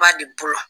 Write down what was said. Ba de bolo